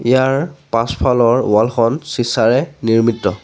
ইয়াৰ পাছফালৰ ৱাল খন চিচাঁৰে নিৰ্মিত।